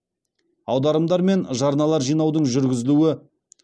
аударымдар мен жарналар жинаудың жүргізілуі